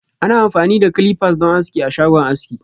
Ana amfani da "clippers" don aski a shagon aski.